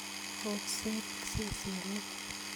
ooksot sesenik